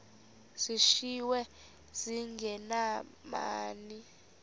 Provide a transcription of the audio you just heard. zishiywe zinge nabani